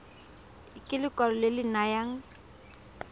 ke lekwalo le le nayang